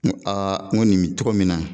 N ko n ko nin bɛ cogo min na